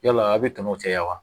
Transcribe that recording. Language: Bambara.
Yala aw bɛ tɛmɛ o cɛya wa